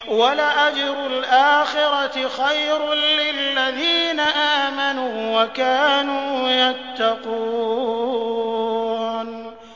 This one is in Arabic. وَلَأَجْرُ الْآخِرَةِ خَيْرٌ لِّلَّذِينَ آمَنُوا وَكَانُوا يَتَّقُونَ